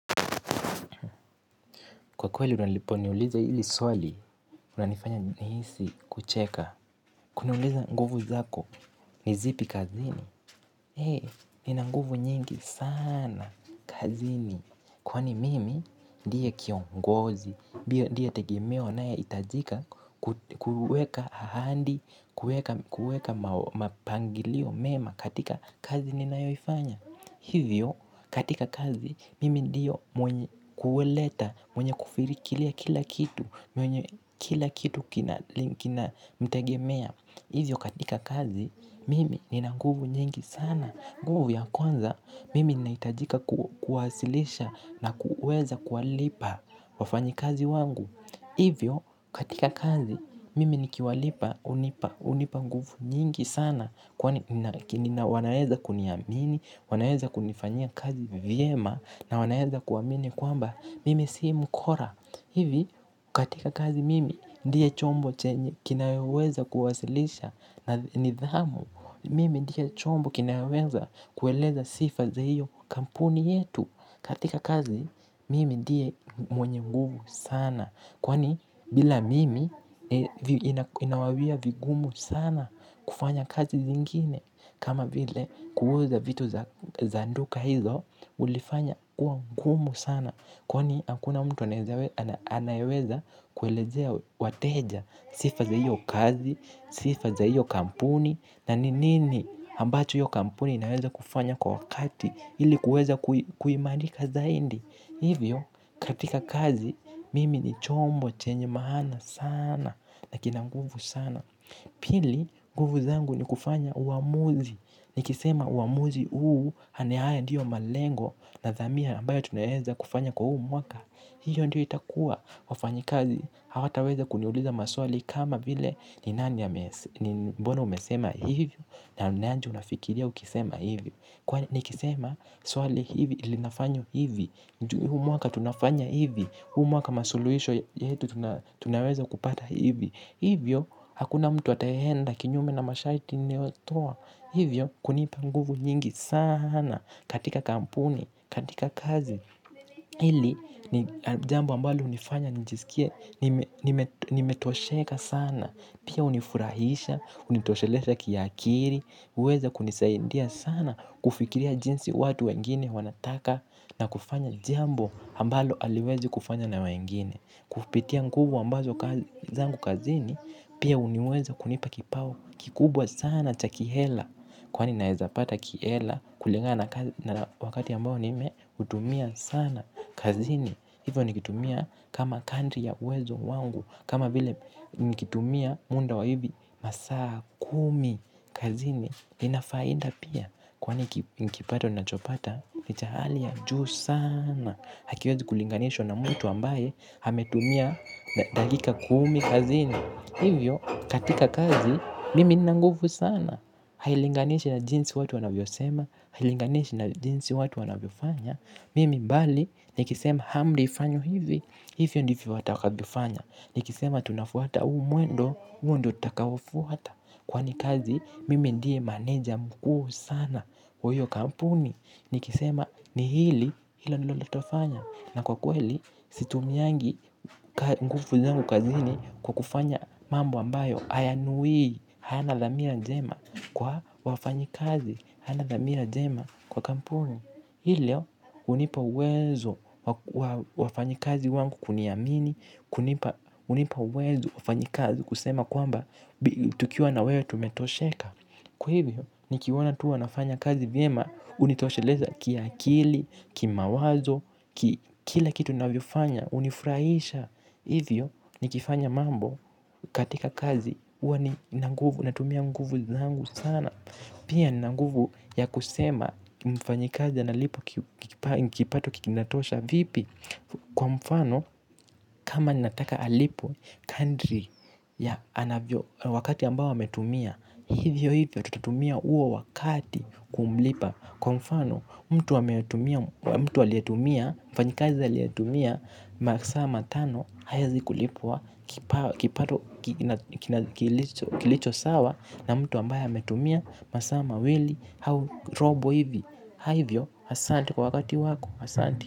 Kwa kweli unalipo niuliza hili swali, unanifanya nihisi kucheka. Kuniuliza nguvu zako, ni zipi kazini. Hee, nina nguvu nyingi sana, kazini. Kwani mimi, ndiye kiongozi, ndiye tegemeo anayo hitajika kuweka ahadi, kuweka mapangilio mema katika kazini ninayoifanya. Hivyo katika kazi mimi ndiyo mwenye kuleta mwenye kufirikiria kila kitu. Kila kitu kinanitegemea hivyo katika kazi mimi nina nguvu nyingi sana nguvu ya kwanza mimi ninahitajika kuwasilisha na kuweza kuwalipa wafanyi kazi wangu. Hivyo katika kazi mimi nikiwalipa hunipa hunipa nguvu nyingi sana kwani wanaweza kuniamini, wanaweza kunifanya kazi vyema na wanaweza kuamini kwamba mimi sii mkora. Hivi katika kazi mimi ndiye chombo chenye kinaweweza kuwasilisha na nidhamu mimi ndiye chombo kinayoweza kueleza sifa za hiyo kampuni yetu katika kazi mimi ndiye mwenye nguvu sana. Kwani bila mimi inawawia vigumu sana kufanya kazi zingine kama vile kuuza vitu za duka hizo ulifanya kuwa ngumu sana. Kw ni hakuna mtu anayeweza kuelezea wateja sifa za hiyo kazi, sifa za hiyo kampuni na ni nini ambacho hiyo kampuni inaweza kufanya kwa wakati ilikuweza kuimarika zaidi hivyo. Katika kazi mimi ni chombo chenye maana sana na kina nguvu sana. Pili nguvu zangu ni kufanya uamuzi nikisema uamuzi huu yaani haya ndiyo malengo na dhamia ambayo tunaweza kufanya kwa huu mwaka hiyo ndiyo itakua wafanyikazi hawataweza kuniuliza maswali kama vile ni nani ame mbona umesema hivyo, na ni aje unafikiria ukisema hivyo. Kwani nikisema swali hivi ilinafanyo hivi huu mwaka tunafanya hivi huu mwaka masuluhisho yetu. Tunaweza kupata hivi, hivyo hakuna mtu ataenda kinyume na mashariti ninayo toa, hivyo, kunipa nguvu nyingi sana katika kampuni, katika kazi. Hili ni jambo ambalo hunifanya njisikie, nimetosheka sana pia hunifurahisha, hunitosheleza kiakili, huweza kunisaindia sana kufikiria jinsi watu wengine wanataka na kufanya jambo ambalo haliwezi kufanywa na wengine kupitia nguvu ambazo zangu kazini pia huniweza kunipa kipao kikubwa sana cha kihela. Kwani naezapata kihela kulingana na wakati ambayo nimeutumia sana kazini hivyo nikitumia kama kadri ya uwezo wangu. Kama vile nikitumia munda wa hivi masaa kumi kazini inafaida pia kwani nikipato ninachopata ni cha hali ya juu sana hakiwezi kulinganishwa na mtu ambaye ametumia dakika kuumi kazini hivyo katika kazi mimi ninanguvu sana. Hailinganishi na jinsi watu wanavyo sema. Hailinganishi na jinsi watu wanavyo fanya mimi bali nikisema amri ifanywe hivi hivyo ndivyo watakavyo fanya nikisema tunafuata huu mwendo huo ndio takaoufuata kwani kazi mimi ndiye maneja mkuu sana. Iyo kampuni nikisema ni hili hilo ndilo tutafanya na kwa kweli, situmiangi nguvu zangu kazini kwa kufanya mambo ambayo, hayana dhamira njema kwa wafanyi kazi, hana dhamira jema kwa kampuni. Hilo, hunipa uwezo. Wafanyi kazi wangu kuniamini, hunipa uwezo wafanyi kazi kusema kwamba tukiwa na wewe tumetosheka kwa hivyo ni kiwaona tu wanafanya kazi vyema hunitosheleza ki akili, ki mawazo, kila kitu ninavyofanya, hunifurahisha. Hivyo ni kifanya mambo katika kazi huwa ni na nguvu, natumia nguvu zangu sana. Pia nina nguvu ya kusema mfanyi kazi analipwa kipato kinatosha vipi? Kwa mfano, kama ninataka alipwe kadri ya wakati ambao ametumia hivyo hiyo tutatumia huo wakati kumlipa kwa mfano kwa mfano mtu aliyetumia masaa tano hawezi kulipwa kipato. Kilicho sawa na mtu ambayo ametumia masaa mawili. Robo hivyo asanti kwa wakati wako asanti.